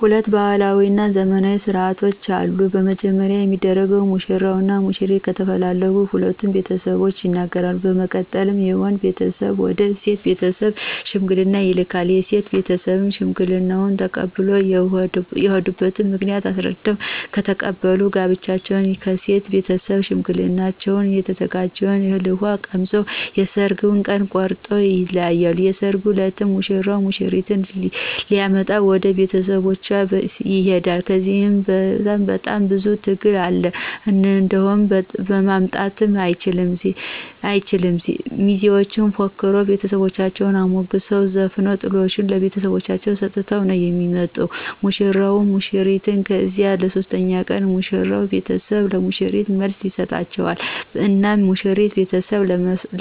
ሁለት ባህላዊ እና ዘመናዊ ስነ ስርዓቶች አሉ። በመጀመሪያ የሚደረገው ሙሽራው እና ሙሽሪት ከተፈላለጉ ሁለቱም ለቤተሰቦቻቸው ይነገራሉ በመቀጠል የወንድየው ቤተሰብ ወደ ሴቶ ቤተስብ ሽምግልና ይልካል የሴቶ ቤተሰብም ሽማግሌዎችን ተቀብሎ የሆዱበት ምክንያት አሰረድተው ከተቀበሉ ጋብቻውን ከሴቶ ቤተሰብ ሸማግሌዎችን የተዘጋጀውን እህል ውሃ ቀምሰው የሠራጉን ቀን ቆረጠው ይለያያሉ። የሰራጉ እለትም ሙሽራው ሙሽሪትን ሊመጣ ወደ ቤተሰቦቻ ቤት ይሆዳ ከዚህ ለይ በጣም ብዙ ትግል አለ እንደሆደ ማምጣትም አይችል ሚዜዎች ፎክረው ቤተሰቦቻን አሞግሰው ዘፍነው ጥሎሽ ለቤተሰቦቻ ተሰጦ ነው የሚሰጠው ለሙሽራው ሙሽሪትን ከዚያ በሦስተኛው ቀን የሙሽሪት ቤተሰብ ለሙሽራው መልስ ይጠራቸዋል እናም የሙሽሪት ቤተሰብ